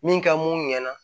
Min ka mun ɲɛna